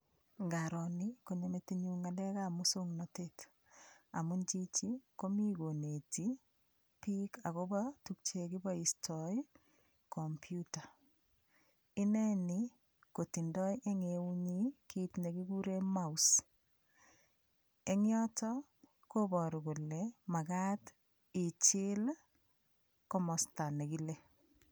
Ngaro ni konyo metinyu ng'alekab muswong'natet amun chichi komi koneti biik akobo tukche kiboistoi komputa ineni kotindoi eng' eunyi kiit nekikure mouse eng' yoto koboru kole makat ichil komosta nekile